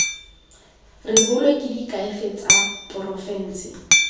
rebolwe ke diakhaefe tsa porofense